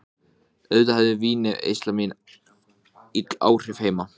Kom þannig veruleikanum aftur í gang.